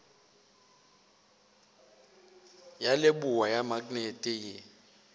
ya leboa ya maknete ye